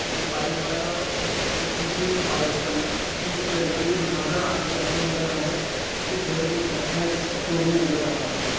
एक बाइक वाला अ ओ पीछे बाइक वाले किसी लड़के को बैठा कर आगे जाता हुआ नजर आ रहा है पीछे घोड़े पर बैठा एक स्टैचू हमें नजर आ रहा है।